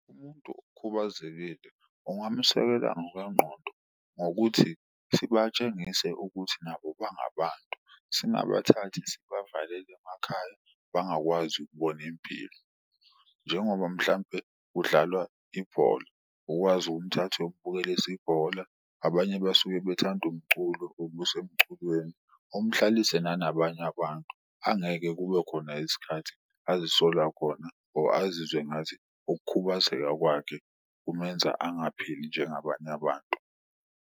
Umuntu okhubazekile ungamusekela ngokwengqondo ngokuthi sibatshengise ukuthi nabo bangabantu, singabathathi sibavalele emakhaya bangakwazi ukubona impilo. Njengoba mhlampe kudlalwa ibhola ukwazi ukumthatha uyombukelisa ibhola, abanye basuke bathanda umculo umusa emculweni. Umhlalise nanabanye abantu angeke kube khona isikhathi azisola khona or azizwe ngathi ukhubazeka kwakhe kumenza angaphili njengabanye abantu.